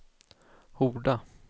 Horda